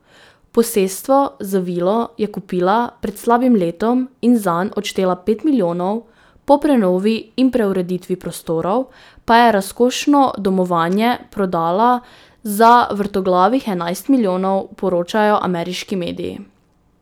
Posestvo z vilo je kupila pred slabim letom in zanj odštela pet milijonov, po prenovi in preureditvi prostorov pa je razkošno domovanje prodala za vrtoglavih enajst milijonov, poročajo ameriški mediji.